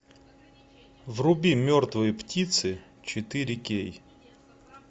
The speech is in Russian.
вруби мертвые птицы четыре кей